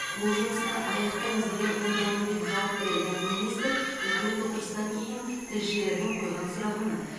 бұл жұмысты аяқтаймыз деген ойдамын деп жауап берді министр үкімет отырысынан кейін тілшілердің қойған сұрағына